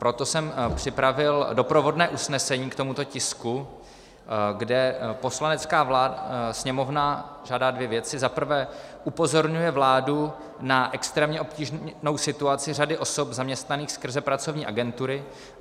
Proto jsem připravil doprovodné usnesení k tomuto tisku, kde Poslanecká sněmovna žádá dvě věci: za prvé upozorňuje vládu na extrémně obtížnou situaci řady osob zaměstnaných skrze pracovní agentury;